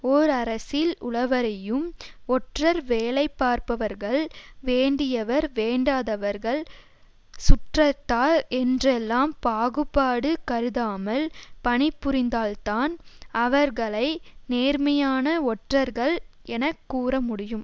ஓர் அரசில் உளவறியும் ஒற்றர் வேலை பார்ப்பவர்கள் வேண்டியவர் வேண்டாதவர்கள் சுற்றத்தார் என்றெல்லாம் பாகுபாடு கருதாமல் பணிபுரிந்தால்தான் அவர்களை நேர்மையான ஒற்றர்கள் என கூற முடியும்